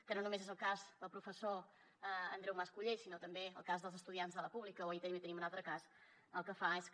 que no només és el cas del professor andreu mas colell sinó també el cas dels estudiants de la pública o ahir també en teníem un altre cas i el que fa és que